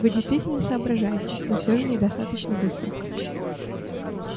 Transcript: вы действительно соображаете но всё же недостаточно быстро